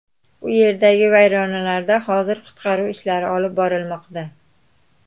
U yerdagi vayronalarda hozir qutqaruv ishlari olib borilmoqda.